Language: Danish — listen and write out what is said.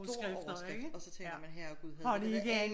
Stor overskrift og så tænker man herregud havde de været alle